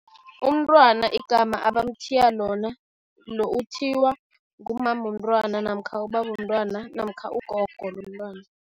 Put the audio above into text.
Umntwana igama abamthiya lona, uthiywa ngumama womntwana namkha ubabomntwana namkha ugogo lomntwana.